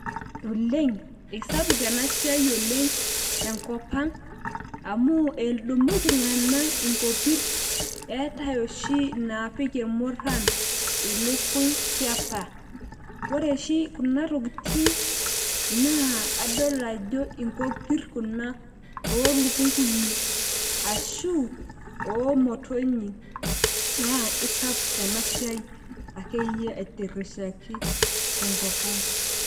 olengeisapuk ena siai oleng tenkop ang, amu edumu iltunganak inkopir, eetae oshi inaapik irmuran ilukny tiapa. ore oshi kuna tokitin adol ajo inkopir kuna, oolukunkuni, ashu oomotonyik naa isapuk ena siia akeyie aitirishaki tenkop ang.